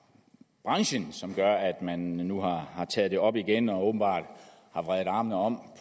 branchen som gør at man nu har taget det op igen og åbenbart har vredet armene om